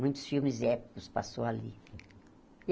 Muitos filmes épicos passaram ali.